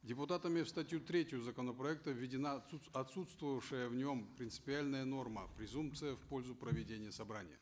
депутатами в статью третью законопроекта введена отсутствовавшая в нем принципиальная норма презумпция в пользу проведения собрания